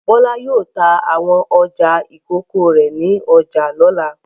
Bọ́lá yóò ta àwọn ọjà ìkókó rẹ̀ ní ọjà lọ́la.